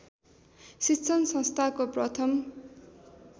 शिक्षण संस्थाको प्रथम